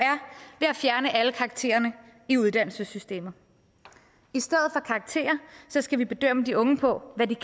er fjerne alle karaktererne i uddannelsessystemet i stedet for karakter skal vi bedømme de unge på hvad de